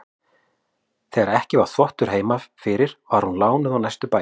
Þegar ekki var þvottur heima fyrir var hún lánuð á næstu bæi.